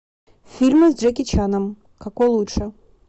фильмы с джеки чаном какой лучше